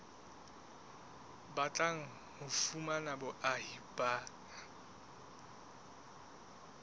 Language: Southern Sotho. batlang ho fumana boahi ba